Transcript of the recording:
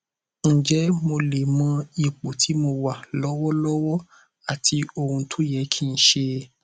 ǹjẹ mo lè mọ ipò tí mo wà lọwọlọwọ àti ohun tó yẹ kí n ṣe